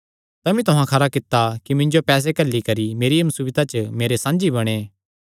तमी तुहां खरा कित्ता कि मिन्जो पैसे घल्ली करी मेरिया मुसीबता च मेरे साझी बणैं